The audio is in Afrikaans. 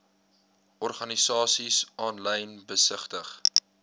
organisasies aanlyn besigtig